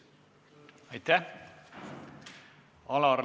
Aitäh!